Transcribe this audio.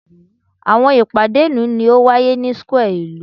Awọn ipade ilu ni o waye ni square ilu